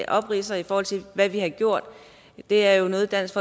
opridser i forhold til hvad vi har gjort er jo noget dansk